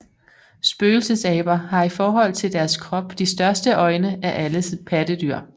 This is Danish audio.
Spøgelsesaber har i forhold til deres krop de største øjne af alle pattedyr